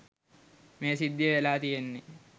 මේ සිද්ධිය වෙලා තියෙන්නේ.